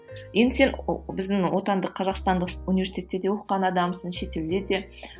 енді сен біздің отандық қазақстандық университетте де оқыған адамсың шетелде де